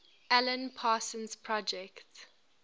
alan parsons project